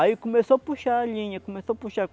Aí começou a puxar a linha, começou a puxar.